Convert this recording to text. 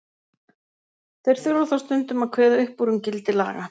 Þeir þurfa þó stundum að kveða upp úr um gildi laga.